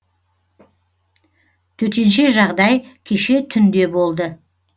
төтенше жағдай кеше түнде болды